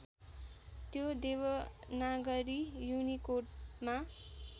त्यो देवनागरी युनिकोडमा